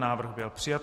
Návrh byl přijat.